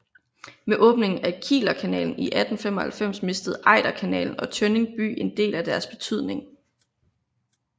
Med åbningen af Kielerkanalen 1895 mistede Ejderkanalen og Tønning by en del af deres betydning